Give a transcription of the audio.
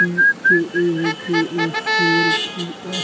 E K A K A four two F --